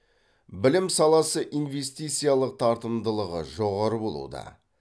білім саласы инвестициялық тартымдылығы жоғары болуда